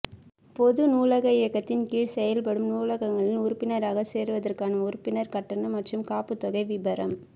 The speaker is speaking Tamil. பொது நூலக இயக்ககத்தின் கீழ் செயல்படும் நூலகங்களில் உறுப்பினராகச் சேருவதற்கான உறுப்பினர் கட்டணம் மற்றும் காப்புத்தொகை விபரம்